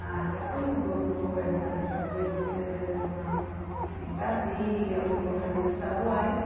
Ah, já fui no governo também, já fui duas, três vezes na em Brasília, alguns governos estaduais.